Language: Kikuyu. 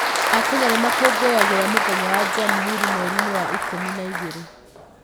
Akenya nĩ makũngũyagĩra mũthenya wa Jamhuri mweri-inĩ wa ikũmi na igĩrĩ.